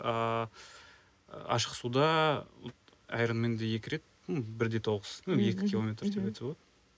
ыыы ашық суда аэроменде екі рет ну бір де тоғыз ну екі километр деп айтса болады